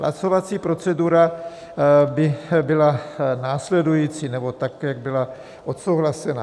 Hlasovací procedura by byla následující - nebo tak, jak byla odsouhlasena: